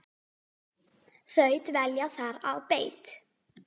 Þau dvelja þar á beit.